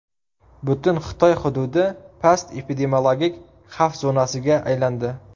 Butun Xitoy hududi past epidemiologik xavf zonasiga aylandi.